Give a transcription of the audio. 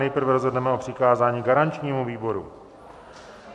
Nejprve rozhodneme o přikázání garančnímu výboru.